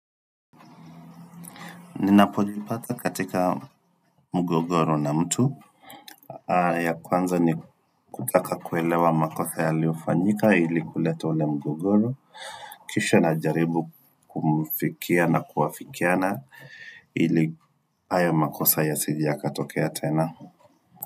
Ninapojipata katika mgogoro na mtu. Ya kwanza ni kutaka kuelewa makosa yaliyofanyika ili kuleta ule mgogoro. Kisha najaribu kumfikia na kuafikiana ili hay makosa yasije yakatokea tena.